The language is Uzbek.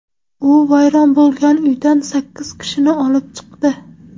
U vayron bo‘lgan uydan sakkiz kishini olib chiqdi.